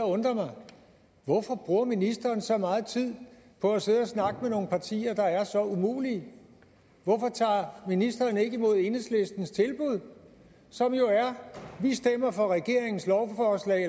undrer mig hvorfor bruger ministeren så meget tid på at sidde og snakke med nogle partier der er så umulige hvorfor tager ministeren ikke imod enhedslistens tilbud som jo er at vi stemmer for regeringens lovforslag